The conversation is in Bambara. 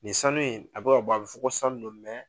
Nin sanu in a bɛ ka b'ɔ, a bɛ fɔ ko sanu don